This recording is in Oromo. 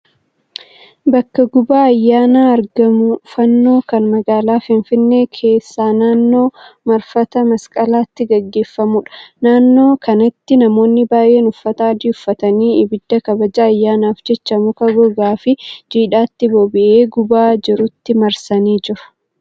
Bakka gubaa ayyaana argamuu fannoo kan magaalaa Finfinnee keessaa naannoo marfata masqalaatti geggeeffamuudha. Naannoo kanatti namoonni baay'ee uffata adii uffatanii ibidda kabaja ayyaanaaf jecha muka gogaafi jiidhatti boba'ee gubaa jirutti marsanii jiru.